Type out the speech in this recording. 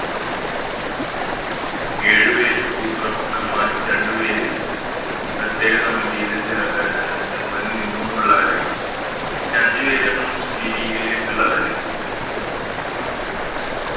ഏഴ് പേര് ഭൂപ്രഭുക്കൻമ്മാരും രണ്ട് പേര് പ്രത്യേക സമിതിയില് ജ അഹ് നിന്നും ഉള്ളവരായിരിക്കും ഓരഞ്ച് പേര് ഞമ്മള് മുസ്ലിം ലീഗിലേക്ക് ഇള്ളവരായിരുന്നു